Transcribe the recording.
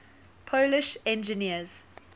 polish engineers